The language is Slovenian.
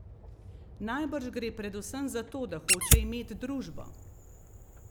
Najbrž gre predvsem za to, da hoče imet družbo.